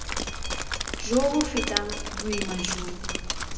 jo bo fetang boima jo